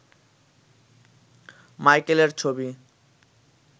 মাইকেলের ছবি